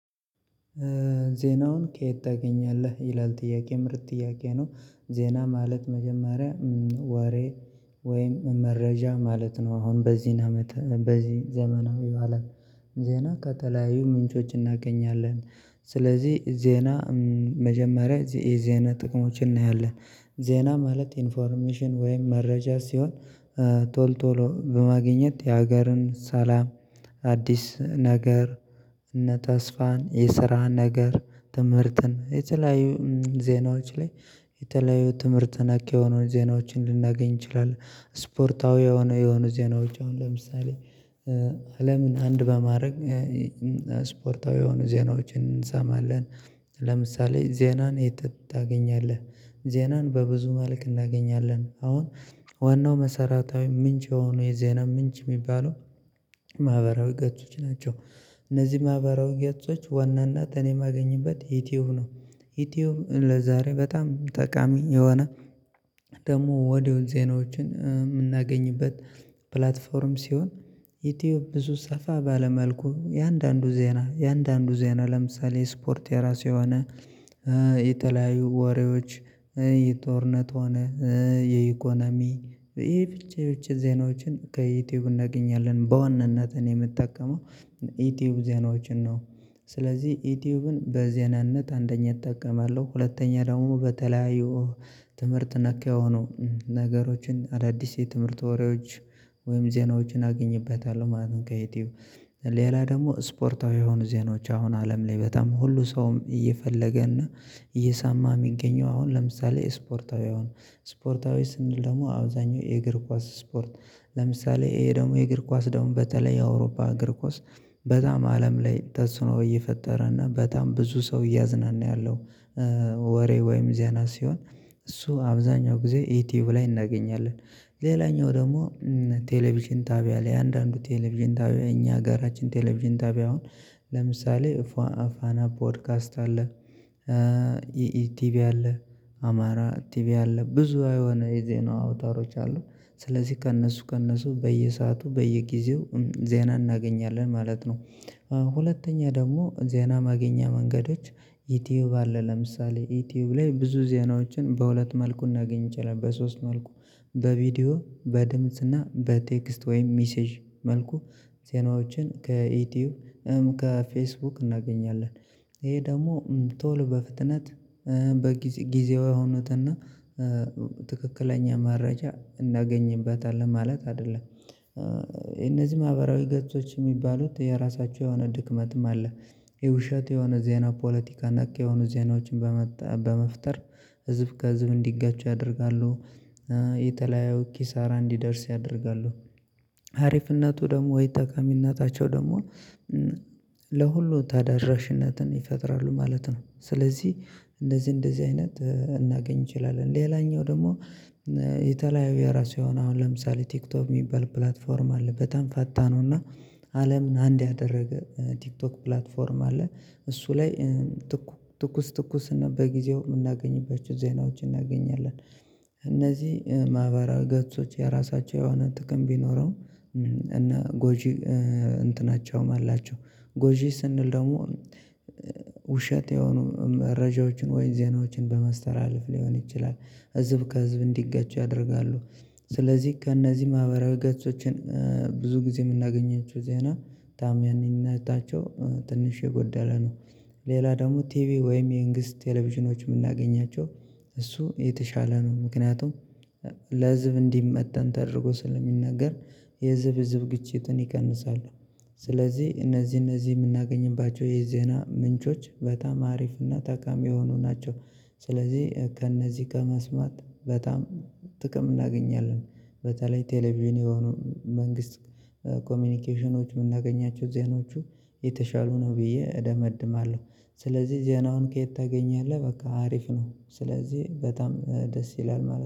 ዜናውን ከየት ታገኛለህ ይላል ጥያቄ ምርጥ ጥያቄ ነው? ዜና ማለት መጀመሪያ ወሬ ወይም መረጃ ማለት ነው። አሁን በዚህን አመት በዚህ ዘመናዊው አለም ዜና ከተለያዩ ምንጮች እናገኛለን። ስለዚህ ዜና መጀመሪያ የዜና ጥቅሞችን እናያለን። ዜና ማለት ኢንፎርሜሽን ወይም መረጃ ሲሆን ቶል ቶሎ በማግኘት የሀገርን ሰላም። አዲስ ነገር እነ ተስፋን የስራ ነገር ትምህርትን የተለያዩ ዜናዎች ላይ የተለያዩ ትምህርት ነክ የሆኑ ዜናዎችን ልናገኝ እንችላለን። ስፖርታዊ የሆነ የሆነ ዜናዎች አሁን ለምሳሌ አለምን አንድ በማድረግ ስፖርታዊ የሆኑ ዜናዎችን እንሰማለን። ለምሳሌ ዜናን የት ታገኛለህ? ዜናን በብዙ መልክ እናገኛለን አሁን ዋናው መሰረታዊ ምንጭ የሆነው የዜና ምንጭ የሚባለው ማህበራዊ ገጾች ናቸው። እነዚህ ማህበራዊ ገጾች ዋናናት እኔ የማገኝበት ዩቲዩብ ነው። ዩቲዩብ ለዛሬ በጣም ጠቃሚ የሆነ ደግሞ ወዲያው ዜናዎችን የምናገኝበት ፕላትፎርም ሲሆን። ዩቲዩብ ብዙ ሰፋ ባለ መልኩ እያንዳንዱ ዜና እያንዳንዱ ዜና ለምሳሌ ስፖርት የራሱ የሆነ የተለያዩ ወሬዎች የጦርነት ሆነ የኢኮኖሚ የብቻ የብቻ ዜናዎችን ከዩቲዩብ እናገኛለን በዋናነት እኔ የምጠቀመው የዩቲዩብ ዜናዎችን ነው። ስለዚህ ዩቲዩብን በዜናነት አንደኛ እጠቀማለሁ ሁለተኛ ደግሞ በተለያዩ ትምህርት ነክ የሆኑ ነገሮችን አዳዲስ የትምህርት ወሬዎች ወይም ዜናዎችን አገኝበታለሁ ማለት ነው። ከዩቲዩብ ሌላ ደግሞ ስፖርታዊ የሆኑ ዜናዎች አሁን አለም ላይ በጣም ሁሉ ሰውም እየፈለገ እና እየሰማ የሚገኘው አሁን ለምሳሌ ስፖርታዊ አሁን ስፖርታዊ ስንል ደግሞ አብዛኛው የእግር ኳስ ስፖርት ለምሳሌ እሄ ደግሞ የእግር ኳስ ደግሞ በተለይ የአውሮፓ እግር ኳስ በጣም አለም ላይ ተጽዕኖ እየፈጠረና በጣም ብዙ ሰው እያዝናና ያለው ወሬ ወይም ዜና ሲሆን እሱ አብዛኛው ጊዜ ዩትዩብ ላይ እናገኛለን። ሌላኛው ደግሞ ቴሌቪዥን ጣቢያ ላይ አንዳንዱ ቴሌቪዥን ጣቢያ እኛ ሀገራችን ቴሌቪዥን ጣቢያ አሁን ለምሳሌ ፋና ፖድካስት አለ ቲቪ አለ አማራ ቲቪ አለ ብዙ የሆነ የዜና አውታሮች አሉ። ስለዚህ ከእነሱ ከእነሱ በየሰአቱ በየጊዜው ዜና እናገኛለን ማለት ነው። ሁለተኛ ደግሞ ዜና ማግኛ መንገዶች ዩቲዩብ አለ ለምሳሌ ዩቲዩብ ላይ ብዙ ዜናዎችን በሁለት መልኩ ልናገኝ እንችለለን በሶስት መልኩ በቪዲዮ በድምጽና በቴክስት ወይም ሚሴጅ መልኩ ዜናዎችን ከዩቲዩብ ከፌስቡክ እናገኛለን። ይሄ ደግሞ ቶሎ በፍጥነት በጊዜ ጊዜያው የሆኑትና ትክክለኛ መረጃ እናገኝበታለን ማለት አይደለም እነዚህ ማህበራዊ ገጾች የሚባሉት የራሳቸው የሆነ ድክመትም አለ። የውሸት የሆነ ዜና ፖለቲካ ነኪ የሆኑ ዜናዎችን በመፍጠር ህዝብ ከህዝብ እንዲጋጩ ያደርጋሉ። የተለያዩ ኪሳራ እንዲደርስ ያደርጋሉ። አሪፍነቱ ደግሞ ወይ ጣቃሚነታቸው ደግሞ ለሁሉ ታዳራሽነትን ይፈጥራሉ ማለት ነው። ስለዚህ እንደዚህ እንደዚህ አይነት እናገኝ እንችላለን ሌላኛው ደግሞ የተለያዩ የራሱ የሆነ አሁን ለምሳሌ ቲክቶክ የሚባል ፕላትፎርም አለ በጣም ፈጣን ነውና አለምን አንድ ያደረገ ቲክቶክ ፕላትፎርም አለ እሱ ላይ ትኩስ ትኩስ እና በጊዜው የምናገኝባቸው ዜናዎች እናገኛለን። እነዚህ ማህበራዊ ገጾች የራሳቸው የሆነ ጥቅም ቢኖረውም እና ጎጂ እንትናቸውም አላቸው ጎጂ ስንል ደግሞ ውሸት የሆኑ መረጃዎችን ወይም ዜናዎችን በመስተለለፍ ሊሆን ይችላል። ህዝብ ከህዝብ እንዲጋጩ ያደርጋሉ። ስለዚህ ከእነዚህ ማህበራዊ ገጾችን ብዙ ጊዜ የምናገኘቸው ዜና ተዓማንነታቸው ትንሽ የጎደለ ነው። ሌላ ደግሞ ቲቪ ወይም የመንግስት ቴሌቪዥኖች የምናገኛቸው እሱ የተሻለ ነው ምክንያቱም ለህዝብ እንዲመጣን ተደርጎ ስለሚናገር የህዝብ ግጭትን ይቀንሳሉ። ስለዚህ እነዚህ እነዚህ የምናገኝባቸው የዜና ምንጮች በጣም አሪፍና ጣቃሚ የሆኑ ናቸው። ስለዚህ ከእነዚህ ከመስማት በጣም ጥቅም እናገኛለን በተለይ ቴሌቪዥን የሆኑ መንግስት ኮሚኒኬሽኖች የምናገኛቸው ዜናዎቹ የተሻሉ ነው ብዬ እደመድማለሁ። ስለዚህ ዜናውን ከየት ታገኛለህ? በቃ አሪፍ ነው ስለዚህ በጣም ደስ ይላል ማለት ነው